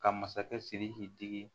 Ka masakɛ sidiki digi